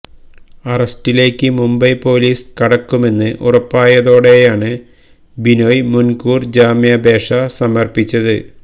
അറസ്റ്റിലേക്ക് Mumbai police കടക്കുമെന്ന് ഉറപ്പായതോടെയാണ് ബിനോയ് മുൻകൂർ ജാമ്യാപേക്ഷ സമര്പ്പിച്ചത്